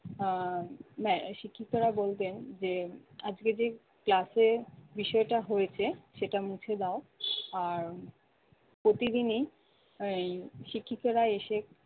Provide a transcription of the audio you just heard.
আহ নেয় শিক্ষিকারা বলতেন যে আজকে যেই class এ বিষয়টা হয়েছে সেটা মুছে দাও আর প্রতিদিনই আহ এই শিক্ষিকারা এসে